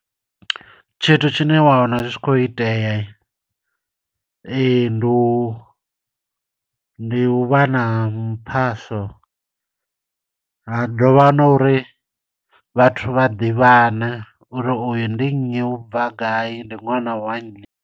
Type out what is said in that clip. Tshithu tshine wa wana zwi tshi khou itea, ndi u, ndi u vha na muphasa. Ha dovha ha no uri vhathu vha ḓivhana, uri uyu ndi nnyi, u bva gai, ndi ṅwana wa.